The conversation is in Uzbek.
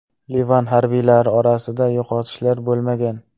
Livan harbiylari orasida yo‘qotishlar bo‘lmagan.